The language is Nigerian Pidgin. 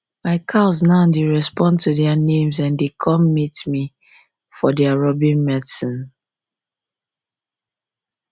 my um cows now dey respond to their names and dey come um meet me for their rubbing medicine